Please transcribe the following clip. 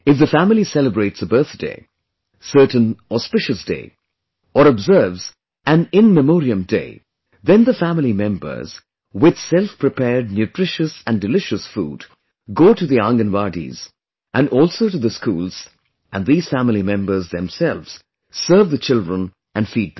If the family celebrates a birthday, certain auspicious day or observe an in memoriam day, then the family members with selfprepared nutritious and delicious food, go to the Anganwadis and also to the schools and these family members themselves serve the children and feed them